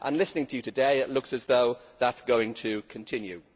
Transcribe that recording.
Listening to you today it looks as though that is going to continue.